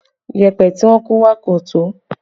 Yẹpẹ tí wọn kó wá kò tó